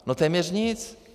No téměř nic.